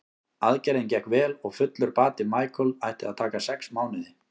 Aðgerðin gekk vel og fullur bati Michael ætti að taka sex mánuði.